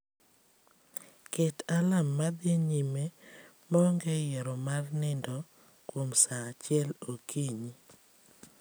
Ket alarm madhi nyime maonge yiero mar nindo kuom saa achiel okinyi